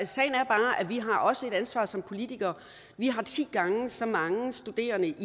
sagen er bare at vi også har et ansvar som politikere vi har ti gange så mange studerende